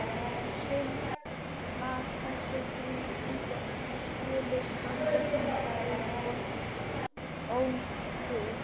Synd að þessi fína íbúð skuli standa svona auð og ónotuð.